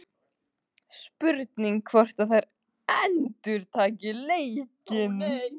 Spurning hvort að þær endurtaki leikinn?